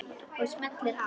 Og smellir af.